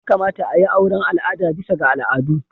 Ya kamata a yi auren al'ada bisa ga al'adu.